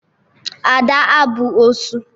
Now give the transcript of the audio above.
Ada abụ osu?